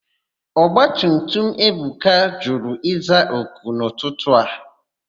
Ọgbatutum Ebuka jụrụ ịza òkù n'ụtụtụ a.